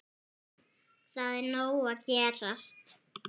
Það er nóg að gerast.